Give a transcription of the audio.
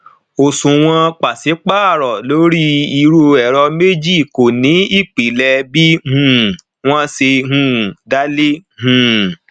eyi um je imose fún ìpín kan um gbogbo um ogún onipindoje ti rà lowo mtn